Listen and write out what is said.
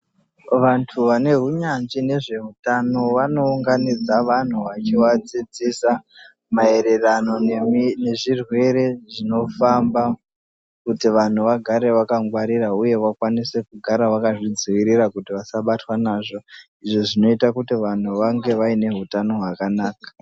Vantu vane hunyanzvi nezveutano vanounganidza vanhu vachivadzidzisa mayererano nezvirwere zvinofamba kuitira kuti vanhu vagare vakangwarira vakwanise kugara vakazvidzivirira kuti vasabatwe nazvo izvo zvinoita kuti vanhu vange vaine hutano hwakanaka.